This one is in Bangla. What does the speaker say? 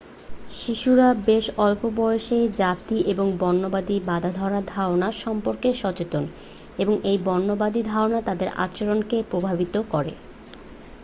শিশুরা বেশ অল্প বয়সেই জাতি এবং বর্ণবাদী বাঁধাধরা ধারণা সম্পর্কে সচেতন এবং এই বর্ণবাদী ধারণা তাদের আচরণকে প্রভাবিত করে